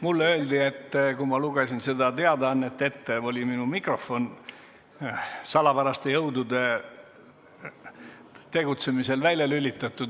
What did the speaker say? Mulle öeldi, et kui ma lugesin seda teadaannet ette, oli minu mikrofon salapäraste jõudude tegutsemisel välja lülitatud.